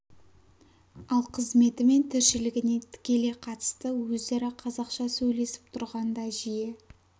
ал қызметі мен тіршілігіне тікелей қатысты өзара қазақша сөйлесіп тұрғанда жиі